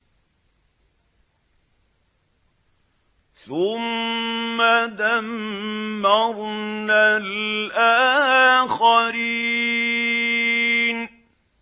ثُمَّ دَمَّرْنَا الْآخَرِينَ